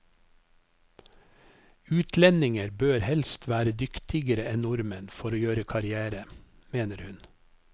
Utlendinger bør helst være dyktigere enn nordmenn for å gjøre karrière, mener hun.